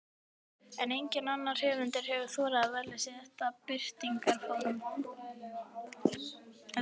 Enginn annar höfundur hefur þorað að velja sér þetta birtingarform.